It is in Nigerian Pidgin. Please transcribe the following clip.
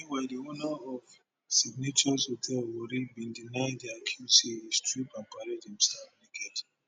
meanwhile di owner of signatious hotel warri bin deny di accuse say e strip and parade im staff naked